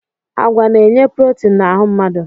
Agwa na-enye protin na ahụ mmadụ.